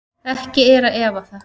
Ekki er að efa það.